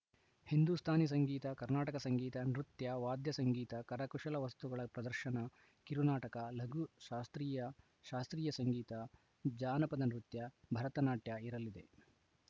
ಹಿಂದೂಸ್ತಾನಿ ಸಂಗೀತ ಕರ್ನಾಟಕ ಸಂಗೀತ ನೃತ್ಯ ವಾದ್ಯ ಸಂಗೀತ ಕರಕುಶಲ ವಸ್ತುಗಳ ಪ್ರದರ್ಶನ ಕಿರುನಾಟಕ ಲಘು ಶಾಸ್ತ್ರೀಯ ಶಾಸ್ತ್ರೀಯ ಸಂಗೀತ ಜಾನಪದ ನೃತ್ಯ ಭರತನಾಟ್ಯ ಇರಲಿದೆ